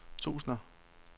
tusinder